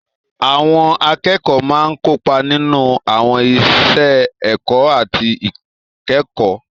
Àwọn akẹ́kọ̀ọ́ máa ń kópa nínú àwọn iṣẹ́ ẹ̀kọ́ àti ìkẹ́kọ̀ọ́.